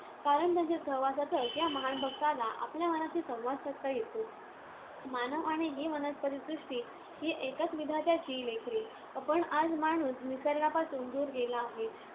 कारण त्यांच्या सहवासातच या महान भक्ताला आपल्या मनाशी संवाद साधता येतो. मानव आणि ही वनस्पतिसृष्टी ही एकाच विधात्याची लेकरे. पण आज माणूस निसर्गापासून दूर गेला आहे.